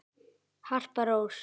Harpa Rós.